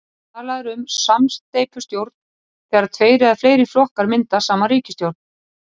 talað er um samsteypustjórn þegar tveir eða fleiri flokkar mynda saman ríkisstjórn